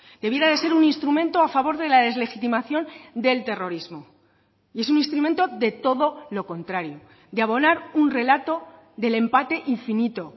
debiera de ser un instrumento a favor de la deslegitimación del terrorismo y es un instrumento de todo lo contrario de abonar un relato del empate infinito